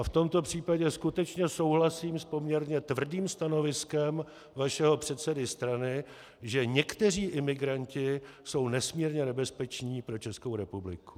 A v tomto případě skutečně souhlasím s poměrně tvrdým stanoviskem vašeho předsedy strany, že někteří imigranti jsou nesmírně nebezpeční pro Českou republiku.